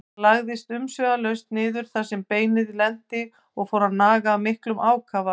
Hann lagðist umsvifalaust niður þar sem beinið lenti og fór að naga af miklum ákafa.